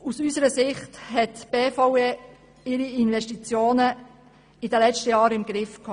Aus unserer Sicht hatte die BVE ihre Investitionen in den letzten Jahren im Griff.